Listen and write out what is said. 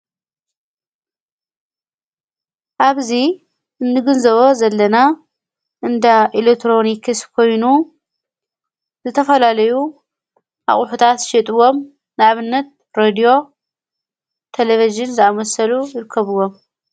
ኣብዙ እንግን ዘበ ዘለና እንዳ ኤሌትሮኒክስ ኮይኑ ዝተፈላለዩ ኣቝሑታት ሸጥዎም ናብነት ረድዮ ተለቢጅን ዝኣመሰሉ ይርከብዎም።